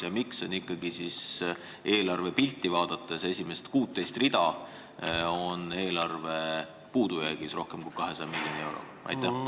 Ja miks on ikkagi nii, et kui eelarve esimest 16 rida vaadata, siis näeme, et eelarve on puudujäägis rohkem kui 200 miljoni euroga?